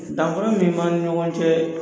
Dankun min b'an ni ɲɔgɔn cɛ